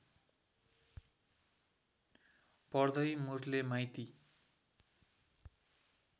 पर्दै मुरले माइती